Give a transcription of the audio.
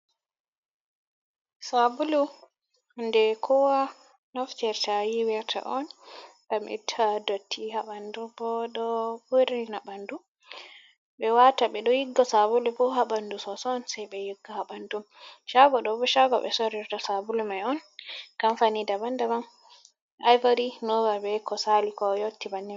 Sabulu hunde kowa noftirta yiwirta on, ngam itta dotti ha ɓanɗu, bo ɗo urina ha ɓanɗu, ɓe wata ɓe ɗo yigga sabulu fu ha ɓanɗu soso sai ɓe yigga ha ɓanɗu, cago ɗo bo cago ɓe sorirta sabulu mai on, kamfani daban daban ivary, nova, be ko sali ko yotti bannin.